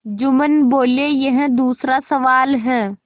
जुम्मन बोलेयह दूसरा सवाल है